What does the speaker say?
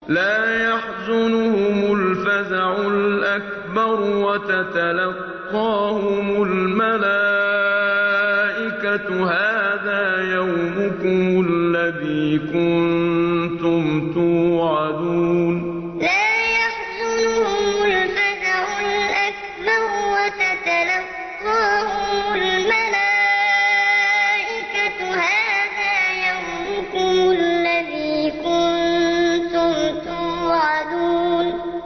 لَا يَحْزُنُهُمُ الْفَزَعُ الْأَكْبَرُ وَتَتَلَقَّاهُمُ الْمَلَائِكَةُ هَٰذَا يَوْمُكُمُ الَّذِي كُنتُمْ تُوعَدُونَ لَا يَحْزُنُهُمُ الْفَزَعُ الْأَكْبَرُ وَتَتَلَقَّاهُمُ الْمَلَائِكَةُ هَٰذَا يَوْمُكُمُ الَّذِي كُنتُمْ تُوعَدُونَ